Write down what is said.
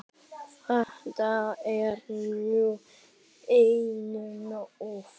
Þetta er nú einum of!